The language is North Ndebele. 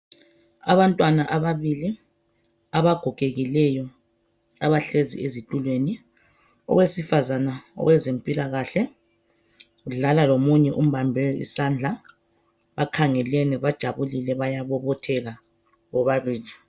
Abantwana ababili, abagogekileyo, abahlezi ezitulweni. Owesifazana owezempilakahle udlala lomunye umbambe isandla, bakhangelene bajabulile bayabobotheka bobabili